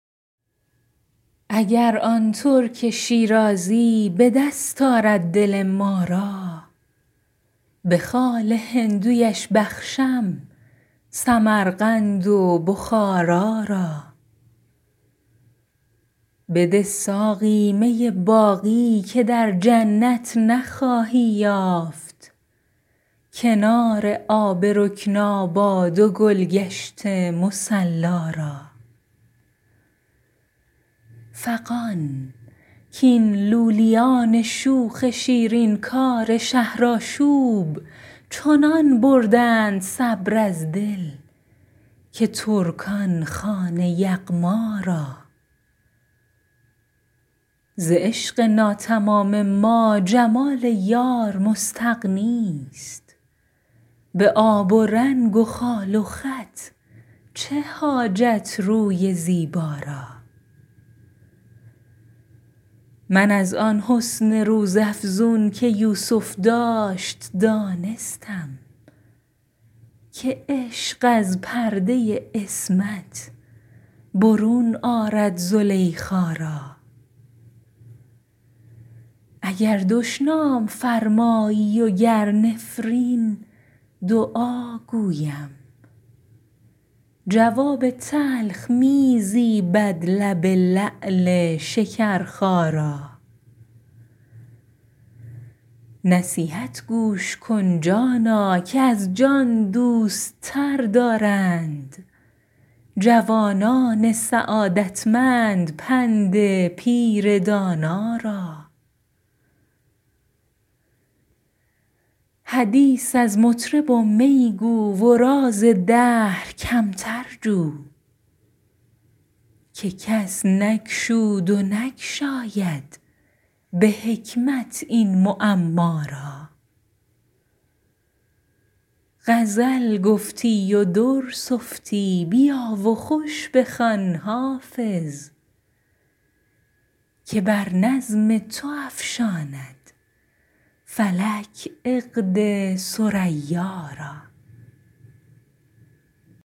اگر آن ترک شیرازی به دست آرد دل ما را به خال هندویش بخشم سمرقند و بخارا را بده ساقی می باقی که در جنت نخواهی یافت کنار آب رکناباد و گل گشت مصلا را فغان کاین لولیان شوخ شیرین کار شهرآشوب چنان بردند صبر از دل که ترکان خوان یغما را ز عشق ناتمام ما جمال یار مستغنی است به آب و رنگ و خال و خط چه حاجت روی زیبا را من از آن حسن روزافزون که یوسف داشت دانستم که عشق از پرده عصمت برون آرد زلیخا را اگر دشنام فرمایی و گر نفرین دعا گویم جواب تلخ می زیبد لب لعل شکرخا را نصیحت گوش کن جانا که از جان دوست تر دارند جوانان سعادتمند پند پیر دانا را حدیث از مطرب و می گو و راز دهر کمتر جو که کس نگشود و نگشاید به حکمت این معما را غزل گفتی و در سفتی بیا و خوش بخوان حافظ که بر نظم تو افشاند فلک عقد ثریا را